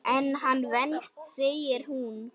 En hann venst segir hún.